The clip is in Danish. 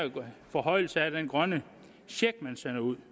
forhøjelse af den grønne check man sender ud